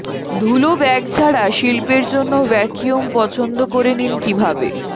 ধুলো ব্যাগ ছাড়া শিল্পের জন্য ভ্যাকুয়াম পছন্দ করে নিন কিভাবে